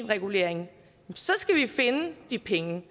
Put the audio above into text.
regulering så skal vi finde de penge